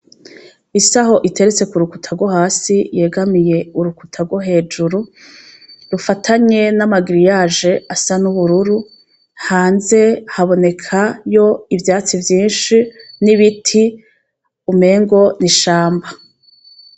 Isaho iteretse ku rukuta rwohasi yegamiye urukuta rwo hejuru rufatanye n'amagiriyaji asa n'ubururu hanze habonekayo ivyatsi vyishi n'ibiti umengo n'ishamba.